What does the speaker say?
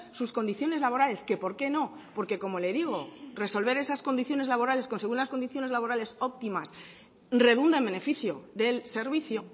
sus condiciones laborales que por qué no porque como le digo resolver esas condiciones laborales conseguir las condiciones laborales óptimas redunda en beneficio del servicio